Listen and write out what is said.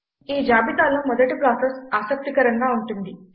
ఈ జాబితాలో మొదటి ప్రాసెస్ ఆసక్తికరంగా ఉంటుంది